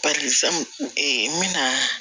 fɛn n bɛna